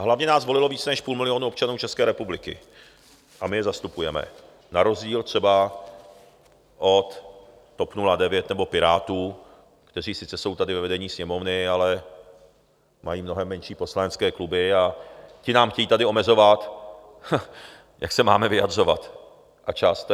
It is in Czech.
A hlavně nás volilo víc než půl milionu občanů České republiky a my je zastupujeme, na rozdíl třeba od TOP 09 nebo Pirátů, kteří sice jsou tady ve vedení Sněmovny, ale mají mnohem menší poslanecké kluby, a ti nám chtějí tady omezovat, jak se máme vyjadřovat, a čas.